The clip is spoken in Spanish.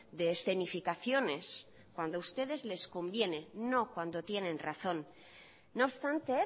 de escenificaciones cuando a ustedes les conviene no cuando tienen razón no obstante